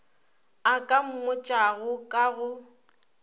a ka mmotšago ka go